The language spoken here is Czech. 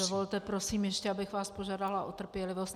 Dovolte, prosím ještě, abych vás požádala o trpělivost.